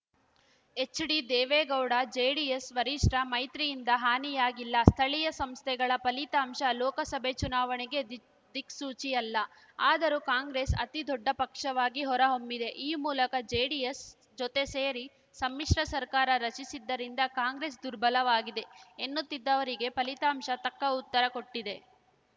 H D Deve Gowda JDS ವರಿಷ್ಠ ಮೈತ್ರಿಯಿಂದ ಹಾನಿಯಾಗಿಲ್ಲ ಸ್ಥಳೀಯ ಸಂಸ್ಥೆಗಳ ಫಲಿತಾಂಶ ಲೋಕಸಭೆ ಚುನಾವಣೆಗೆ ದಿಕ್ ದಿಕ್ಸೂಚಿ ಅಲ್ಲ ಆದರೂ ಕಾಂಗ್ರೆಸ್‌ ಅತಿ ದೊಡ್ಡ ಪಕ್ಷವಾಗಿ ಹೊರಹೊಮ್ಮಿದೆ ಈ ಮೂಲಕ ಜೆಡಿಎಸ್‌ ಜೊತೆ ಸೇರಿ ಸಮ್ಮಿಶ್ರ ಸರ್ಕಾರ ರಚಿಸಿದ್ದರಿಂದ ಕಾಂಗ್ರೆಸ್‌ ದುರ್ಬಲವಾಗಿದೆ ಎನ್ನುತ್ತಿದ್ದವರಿಗೆ ಫಲಿತಾಂಶ ತಕ್ಕ ಉತ್ತರ ಕೊಟ್ಟಿದೆ